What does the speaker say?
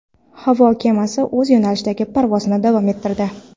Havo kemasi o‘z yo‘nalishida parvozini davom ettirdi.